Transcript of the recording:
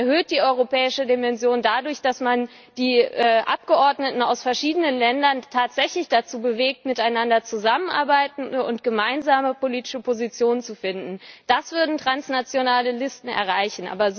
Man erhöht die europäische Dimension dadurch, dass man die Abgeordneten aus verschiedenen Ländern tatsächlich dazu bewegt, miteinander zusammenzuarbeiten und gemeinsame politische Positionen zu finden. Das würden transnationale Listen erreichen.